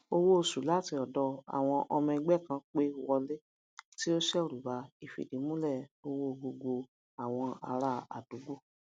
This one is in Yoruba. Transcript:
owó oṣù láti ọdọ àwọn ọmọ ẹgbẹ kan pé wọlé tí o seru ba ifidimule owo gbogbo awon ará àdúgbò